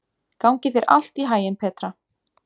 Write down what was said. Gangi þér allt í haginn, Petra.